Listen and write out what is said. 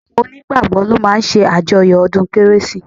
Àwọn onígbàgbọ́ ló máa ń ṣàjọyọ̀ ọdún kérésì